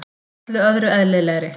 Öllu öðru eðlilegri.